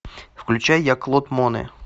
включай я клод моне